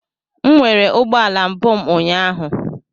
M nwere ụgbọala mbụ m ụnyaahụ.